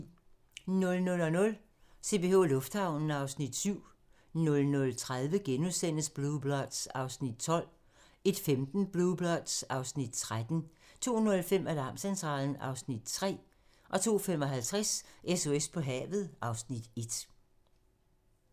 00:00: CPH Lufthavnen (Afs. 7) 00:30: Blue Bloods (Afs. 12)* 01:15: Blue Bloods (Afs. 13) 02:05: Alarmcentralen (Afs. 3) 02:55: SOS på havet (Afs. 1)